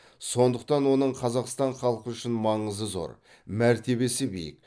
сондықтан оның қазақстан халқы үшін маңызы зор мәртебесі биік